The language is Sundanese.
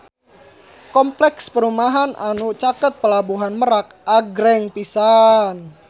Kompleks perumahan anu caket Pelabuhan Merak agreng pisan